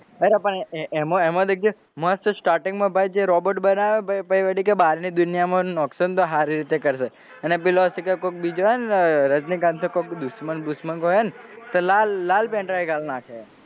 અરે પણ એમો દેખજે મસ્ત starting માં ભાઈ જે robot બનાવે ભાઈ પછી પેલી કે બહારની દુનિયામાં નાખશો તો સારી રીતે કરશે અને પેલો શું કે કોક બીજો કોઈ છે ને રજનીકાંત કોક દુશ્મન કો હે ને તે લાલ લાલ pendrive ઘાલ નાખે.